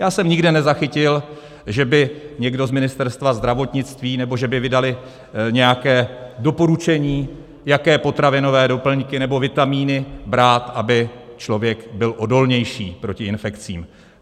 Já jsem nikde nezachytil, že by někdo z Ministerstva zdravotnictví, nebo že by vydali nějaké doporučení, jaké potravinové doplňky nebo vitamíny brát, aby člověk byl odolnější proti infekcím.